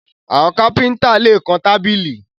Àwọn kífíńtà lè kan tábìlì